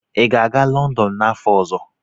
Ị ga-aga Lọndọn n'afọ ọzọ?